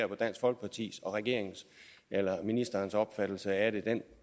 på dansk folkepartis og ministerens opfattelse af det og den